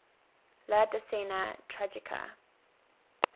la decena tragica